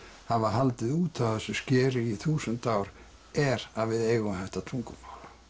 hafa haldið út á þessu skeri í þúsund ár er að við eigum þetta tungumál